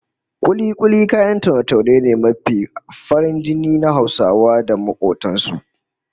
Kuli-kuli kayan taune-taune ne mai farin jini na Hausa da makobtan su